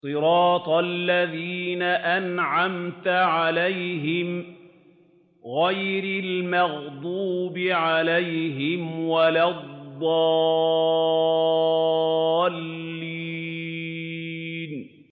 صِرَاطَ الَّذِينَ أَنْعَمْتَ عَلَيْهِمْ غَيْرِ الْمَغْضُوبِ عَلَيْهِمْ وَلَا الضَّالِّينَ